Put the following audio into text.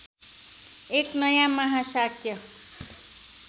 एक नयाँ महाशाक्य